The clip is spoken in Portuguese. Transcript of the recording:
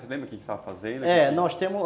Você lembra o que estava fazendo? É, nós temos